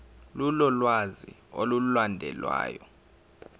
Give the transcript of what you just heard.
lolu lwazi olulandelayo